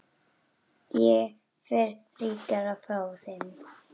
Ég fer ríkari frá þeim.